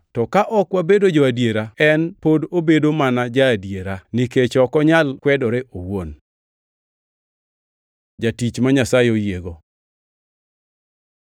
to ka ok wabedo jo-adiera, en pod obedo mana ja-adiera, nikech ok onyal kwedore owuon. Jatich ma Nyasaye oyiego